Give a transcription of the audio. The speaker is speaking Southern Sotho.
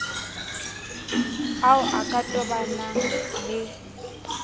ao a ka tobanang le